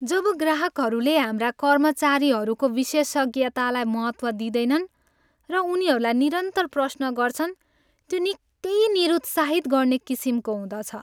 जब ग्राहकहरूले हाम्रा कर्मचारीहरूको विशेषज्ञतालाई महत्त्व दिँदैनन् र उनीहरूलाई निरन्तर प्रश्न गर्छन्, त्यो निकै निरुत्साहित गर्ने किसिमको हुँदछ।